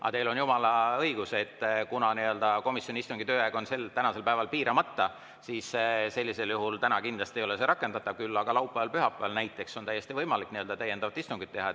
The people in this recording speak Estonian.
Aga teil on jumala õigus, et kuna komisjoni istungi tööaeg on piiramata, siis sellisel juhul täna kindlasti ei ole see rakendatav, küll aga laupäeval või pühapäeval näiteks on täiesti võimalik täiendavat istungit teha.